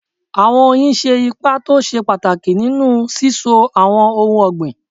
Àwọn oyin ṣe ipa tó ṣe pàtàkì nínú síso àwọn ohun ọ̀gbìn.